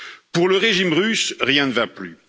Pour le régime russe, rien ne va plus.